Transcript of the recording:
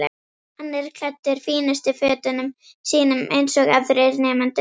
Hann er klæddur fínustu fötunum sínum eins og aðrir nemendur.